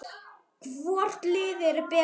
Hvort liðið er betra?